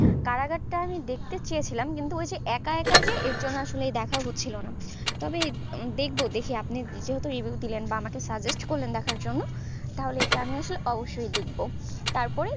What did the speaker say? কারাগারটা আমি দেখতে চেয়েছিলাম ওই যে একা একা যে ওই জন্য আর দেখতে আছে করছেন তবে দেখবো দেখি যেহেতু review দিলেন বা আমাকে suggest করলেন দেখার জন্য তাহলে এটা আমি আসলে অবশই দেখবো তারপরেই